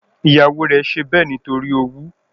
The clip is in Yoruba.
Ìyàwó rẹ̀ ṣe bẹ́ẹ̀ nítorí owú